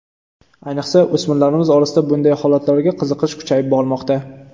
Ayniqsa, o‘smirlarimiz orasida bunday holatlarga qiziqish kuchayib bormoqda.